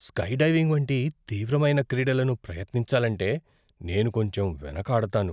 Skydiving వంటి తీవ్రమైన క్రీడలను ప్రయత్నించాలంటే నేను కొంచెం వెనుకాడతాను.